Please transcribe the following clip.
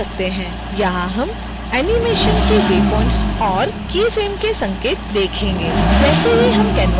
यहाँ हम animation के waypoints और key frame के संकेत देखेंगे